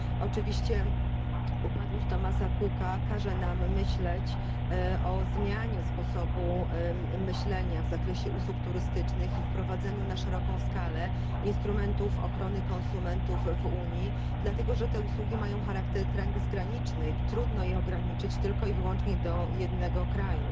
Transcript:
Oczywiście upadłość Thomasa Cooka każe nam zastanowić się nad zmianą sposobu myślenia w zakresie usług turystycznych i wprowadzeniem na szeroką skalę instrumentów ochrony konsumentów w Unii, dlatego że te usługi mają charakter transgraniczny i trudno je ograniczyć tylko i wyłącznie do jednego kraju.